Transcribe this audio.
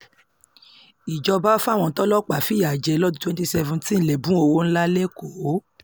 ìjọba fáwọn tọlọ́pàá fìyà jẹ lọ́dún twenty seventeen lẹ́bùn owó ńlá lẹ́kọ̀ọ́